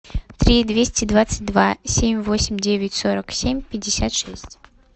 три двести двадцать два семь восемь девять сорок семь пятьдесят шесть